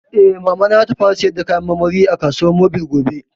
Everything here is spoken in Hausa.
Eh, Mamana za ta fara sayar da kayan marmari a kasuwar mobil gobe